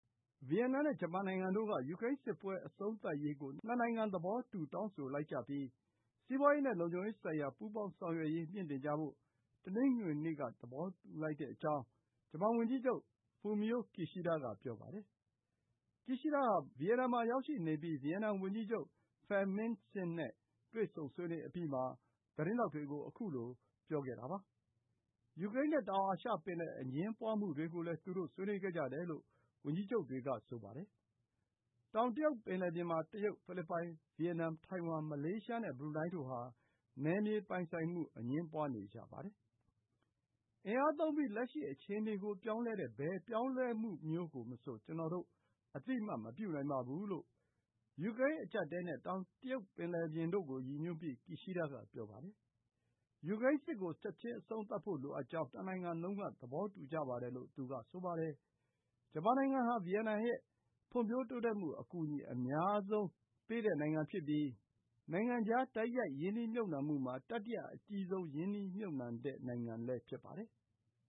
ဗီယက်နမ်နဲ့ ဂျပန်နိုင်ငံတို့ ယူကရိန်းစစ်ပွဲ အဆုံးသတ်ရေးကို နှစ်နိုင်ငံ သဘောတူ တောင်းဆိုလိုက်ပြီး စီးပွားရေးနဲ့ လုံခြုံရေးဆိုင်ရာ ပူးပေါင်းဆောင်ရွက်ရေးကို မြှင့်တင်ကြဖို့ တနင်္ဂနွေနေ့က သဘောတူလိုက်ကြကြောင်း ဂျပန်ဝန်ကြီးချုပ် Fumio Kishida က ပြောပါတယ်။ Kishida ဟာ ဗီယက်နမ်မှာ ရောက်ရှိနေပြီး ဗီယက်နမ်ဝန်ကြီးချုပ် Pham Minh Chinh နဲ့ ဆွေးနွေးအပြီးမှာ သတင်းထောက်တွေကို ခုလို ပြောလိုက်တာပါ။ ယူကရိန်းနဲ့ တောင်တရုတ်ပင်လယ် အငြင်းပွားမှုတွေကိုလည်း သူတို့ ဆွေးနွေးခဲ့ကြတယ်လို့ ဝန်ကြီးချုပ်တွေက ပြောကြပါတယ်။ တောင်တရုတ်ပင်လယ်ပြင်မှာ တရုတ်၊ ဖိလစ်ပိုင်၊ ဗီယက်နမ်၊ ထိုင်ဝမ်၊ မလေးရှားနဲ့ ဘရူနိုင်းတို့ဟာ နယ်မြေပိုင်ဆိုင်မှု အငြင်းပွားနေကြပါတယ်။ “အင်အားသုံးပြီး လက်ရှိအခြေအနေကို ပြောင်းလဲတဲ့ ဘယ်ပြောင်းလဲမှုမျိုးမဆို ကျနော်တို့ အသိအမှတ် မပြုနိုင်ပါဘူး။” လို့ ယူကရိန်း အကျပ်အတည်းနဲ့ တောင်တရုတ်ပင်လယ်ပြင်တို့ကို ရည်ညွှန်းပြီး Kishida က ပြောပါတယ်။ ယူကရိန်းစစ်ကို ချက်ချင်းအဆုံးသတ်ဖို့ လိုအပ်ကြောင်း နှစ်နိုင်ငံလုံးက သဘောတူကြပါတယ်လို့ သူက ဆိုပါတယ်။ ဂျပန်နိုင်ငံဟာ ဗီယက်နမ်ရဲ့ ဖွံ့ဖြိုးတိုးတက်မှု အကူအညီ အများဆုံးရတဲ့ နိုင်ငံဖြစ်ပြီး နိုင်ငံခြား တိုက်ရိုက်ရင်းနှီးမြှုပ်နှံမှုမှာ တတိယအကြီးဆုံး ရင်းနှီးမြှုပ်နှံတဲ့နိုင်ငံလည်း ဖြစ်ပါတယ်။